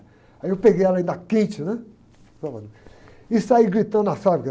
Aí eu peguei ela ainda quente, né? e saí gritando na fábrica.